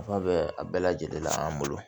Nafa bɛ a bɛɛ lajɛlen la an bolo